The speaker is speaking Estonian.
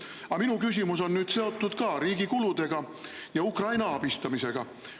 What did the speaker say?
Aga minu küsimus on seotud riigi kuludega ja Ukraina abistamisega.